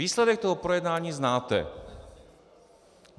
Výsledek toho projednání znáte.